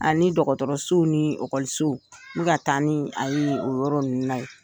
Ani dɔgɔtɔrɔsow ni okɔlisoww n ka taa ni a ye o yɔrɔ ninnu na ye